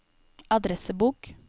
adressebok